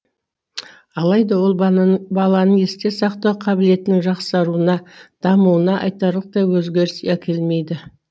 алайда ол баланың есте сақтау қабілетінің жақсаруына дамуына айтарлықтай өзгеріс әкелмейді